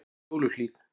Fjóluhlíð